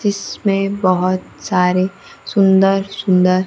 इसमें बहोत सारे सुंदर सुंदर--